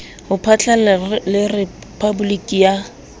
ho phatlalla le rephaboliki ya